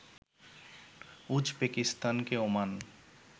উজবেকিস্তানকে Oman